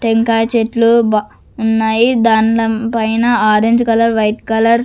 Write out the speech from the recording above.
టెంకాయ చెట్లు బ ఉన్నాయి దాండం పైన ఆరెంజ్ కలర్ వైట్ కలర్ --